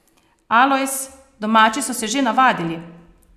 Alojz: 'Domači so se že navadili.